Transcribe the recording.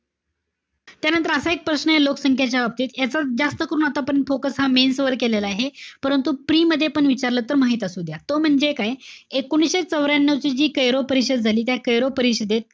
त्यानंतर असा एक प्रश्न आहे लोकसंख्येच्या बाबतीत. याचा जास्त करून आता focus हा mains वर केलेला आहे. परंतु, pre मध्ये पण विचारलं तर माहित असुद्या. तो म्हणजे काय? एकोणीशे चवऱ्यानव ची जी कैरो परिषद झाली. त्या कैरो परिषदेत,